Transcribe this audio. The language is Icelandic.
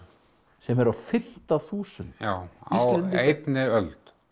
sem eru á fimmta þúsund já á einni öld